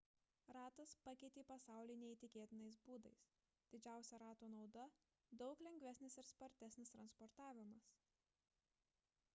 ratas pakeitė pasaulį neįtikėtinais būdais didžiausia rato nauda – daug lengvesnis ir spartesnis transportavimas